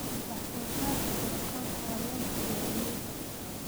Wax-soo-saarka tiro-koobku waa yoolka beeralayda.